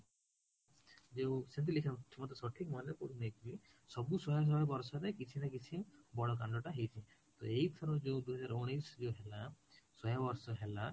ଯୋଉ ମତେ ମାନେ ପଡୁନି ଏବେ ସବୁସହେ ବର୍ଷରେ କିଛି ନା କିଛି ବଡ଼ କାଣ୍ଡଟା ହେଇଛି ତ ଏଇଠାରେ ଯୋଉ ଦୁଇ ହଜାର ଉଣେଇଶ ରେ ହେଲା ଶହେ ବର୍ଷ ହେଲା